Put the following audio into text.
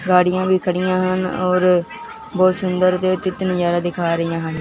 गाड़ियां भी खड़ी हैं यहां और बहुत सुंदर नजारा दिखा रही है यहां।